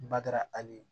Bada abe